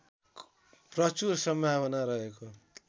प्रचुर सम्भावना रहेको